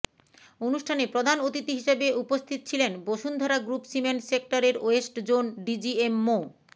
অনুষ্ঠানে প্রধান অতিথি হিসেবে উপন্থিত ছিলেন বসুন্ধরা গ্রুপ সিমেন্ট সেক্টর এর ওয়েস্ট জোন ডিজিএম মো